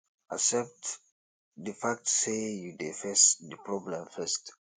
accept di fact sey you dey face di problem first